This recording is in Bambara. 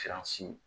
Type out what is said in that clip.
Siransi